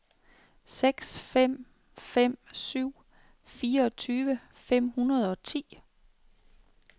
seks fem fem syv fireogtyve fem hundrede og ti